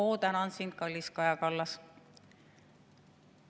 "Oo, tänan sind, kallis Kaja Kallas!